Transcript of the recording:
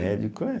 Médico é...